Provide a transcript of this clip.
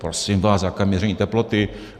- Prosím vás, jaké měření teploty?